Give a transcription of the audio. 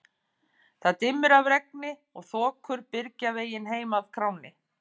Það dimmir af regni og þokur byrgja veginn heim að kránni.